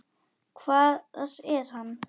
Hvar er hann?